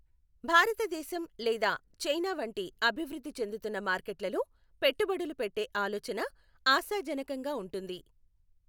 భారతదేశం లేదా చైనా వంటి అభివృద్ధి చెందుతున్న మార్కెట్లలో పెట్టుబడులు పెట్టే ఆలోచన ఆశాజనకంగా ఉంటుంది.